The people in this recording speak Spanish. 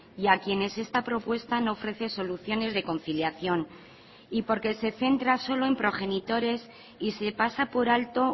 y a quienes esta propuesta no ofrece soluciones de conciliación y porque se centra solo en progenitores y se pasa por alto